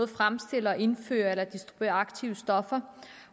fremstiller indfører eller distribuerer aktive stoffer